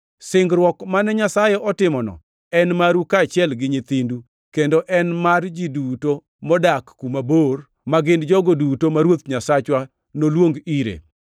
Singruok mane Nyasaye otimono en maru kaachiel gi nyithindu; kendo en mar ji duto modak kuma bor, ma gin jogo duto ma Ruoth Nyasachwa noluong ire.”